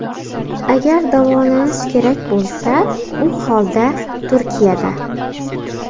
Agar davolanish kerak bo‘lsa, u holda Turkiyada!